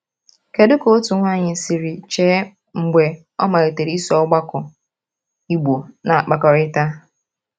Kedu ka otu nwanyị siri chee mgbe o malitere iso ọgbakọ Igbo na-akpakọrịta?